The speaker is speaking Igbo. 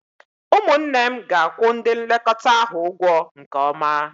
Ụmụnne m ga-akwụ ndị nlekọta ahụ ụgwọ nke ọma